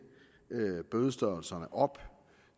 bødestørrelserne op